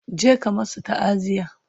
je ka masu ta'aziya!